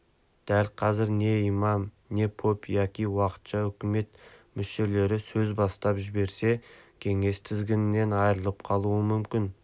дәл қазір не имам не поп яки уақытша үкімет мүшелері сөз бастап жіберсе кеңес тізгіннен айырылып қалуы мүмкін